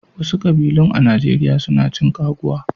Wasu kƙbilun a Najeriya su na cin ƙaguwa.